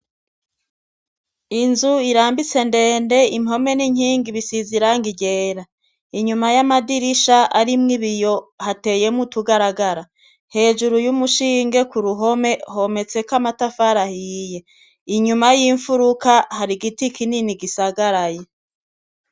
Inzu irambitse ndende, impome n'inkingi bisize irangi ryera. Inyuma y'amadirisha arimwo ibiyo hateyemwo utugaragara. Hejuru y'umushinge ku ruhome hometseko amatafari ahiye. Inyuma y'imfuruka har'igiti kinini gisagaraye.